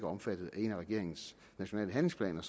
omfattet af en af regeringens nationale handlingsplaner